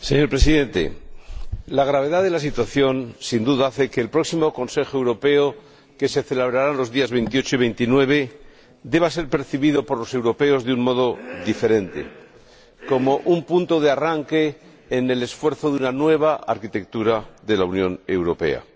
Señor Presidente, la gravedad de la situación, sin duda, hace que el próximo Consejo Europeo, que se celebrará los días 28 y 29, deba ser percibido por los europeos de un modo diferente, como un punto de arranque en el esfuerzo de una nueva arquitectura de la Unión Europea.